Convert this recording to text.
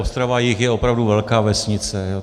Ostrava-jih je opravdu velká vesnice.